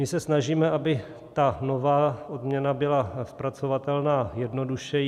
My se snažíme, aby ta nová odměna byla zpracovatelná jednodušeji.